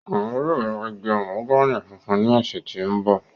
Oun yóò ra igi mahogani funfun ni ọsẹ to nbọ.